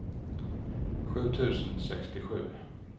sju tusen sextiosju